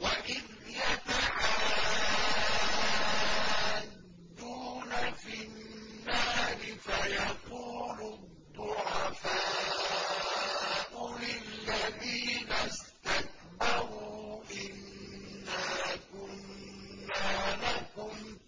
وَإِذْ يَتَحَاجُّونَ فِي النَّارِ فَيَقُولُ الضُّعَفَاءُ لِلَّذِينَ اسْتَكْبَرُوا إِنَّا كُنَّا لَكُمْ